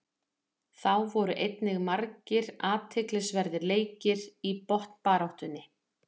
Þá voru einnig margir athyglisverðir leikir í botnbaráttunni.